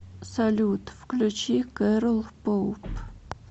салют включи кэрол поуп